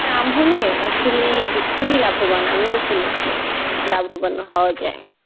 আম হলে আসলেই বি~ খুবই লাভবান, আমিও শুনেছি লাভবান হওয়া যায়.